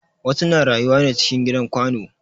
Wasu na rayuwa ne cikin gidan kwano